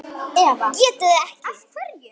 ÉTI ÞIG EKKI!